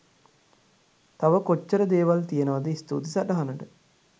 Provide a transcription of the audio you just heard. තව කොච්චර දේවල් තියෙනවද ස්තුතියි සටහනට .